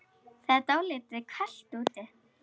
Það er dálítið kalt úti.